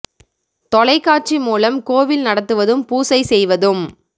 தொலைக்காட்சி மூலம் கோவில் நடத்துவதும் பூசை செய்வதும்